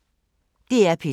DR P2